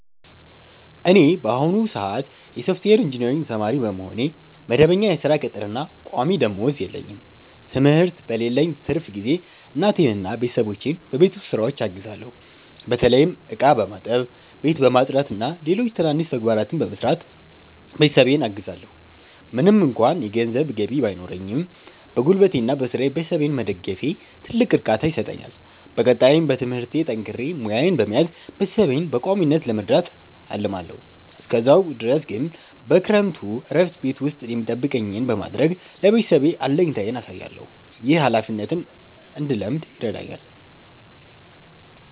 እኔ በአሁኑ ሰአት የሶፍትዌር ኢንጂነሪንግ ተማሪ በመሆኔ፣ መደበኛ የሥራ ቅጥርና ቋሚ ደመወዝ የለኝም። ትምህርት በሌለኝ ትርፍ ጊዜ እናቴንና ቤተሰቦቼን በቤት ውስጥ ሥራዎች አግዛለሁ። በተለይም ዕቃ በማጠብ፣ ቤት በማጽዳትና ሌሎች ትናንሽ ተግባራትን በመስራት ቤተሰቤን አግዛለዎ። ምንም እንኳ የገንዘብ ገቢ ባይኖረኝም፣ በጉልበቴና በሥራዬ ቤተሰቤን መደገፌ ትልቅ እርካታ ይሰጠኛል። በቀጣይም በትምህርቴ ጠንክሬ ሙያዬን በመያዝ ቤተሰቤን በቋሚነት ለመርዳት አልማለዎ። እስከዛ ድረስ ግን በክረምቱ እረፍቴ ቤት ውስጥ የሚጠበቅብኝን በማድረግ ለቤተሰቤ አለኝታነቴን አሳያለሁ። ይህ ኃላፊነትን እንድለምድ ይረዳኛል።